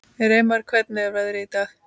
Reimar, hvernig er veðrið í dag?